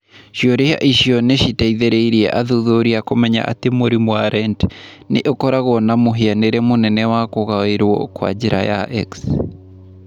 Ciũria icio nĩ ciateithirie athuthuria kũmenya atĩ mũrimũ wa Rett nĩ ũkoragwo na mũhianĩre mũnene wa kũgaĩrũo na njĩra ya X.